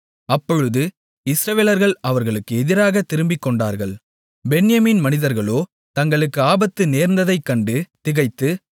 அப்பொழுது இஸ்ரவேலர்கள் அவர்களுக்கு எதிராகத் திரும்பிக்கொண்டார்கள் பென்யமீன் மனிதர்களோ தங்களுக்கு ஆபத்து நேர்ந்ததைக் கண்டு திகைத்து